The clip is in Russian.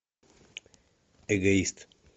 эгоист